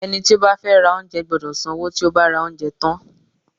Ẹni tí ó bá fẹ́ ra oúnjẹ gbọ́dọ̀ san owó tí ó bá ra oúnjẹ tán.